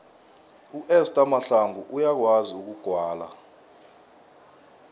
uester mahlangu uyakwazi ukugwala